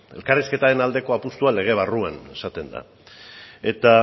elkarrizketaren aldeko apustua lege barruan esaten da eta